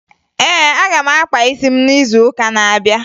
Ee, aga m akpa isi m n'izuụka na-abịa